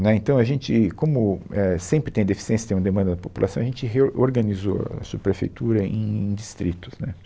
Né, Então a gente, como, é, sempre tem deficiência, tem uma demanda da população, a gente reorganizou a subprefeitura em, em distritos, né